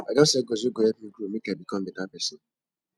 i don set goals wey go help me grow make i become beta pesin